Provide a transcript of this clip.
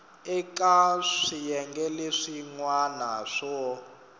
eka swiyenge leswin wana swo